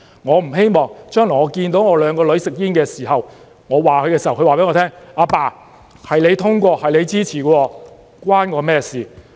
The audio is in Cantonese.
我不希望將來看到我的兩個女兒吸煙，當我責備她們的時候，她告訴我︰"爸爸，是你通過的，是你支持的，與我有關嗎？